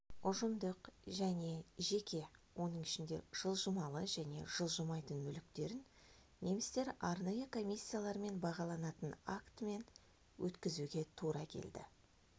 ұжымдық және жеке оның ішінде жылжымалы және жылжымайтын мүліктерін немістер арнайы комиссиялармен бағаланатын актімен өткізуге тура келді